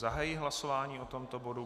Zahajuji hlasování o tomto bodu.